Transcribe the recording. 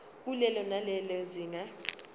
kulelo nalelo zinga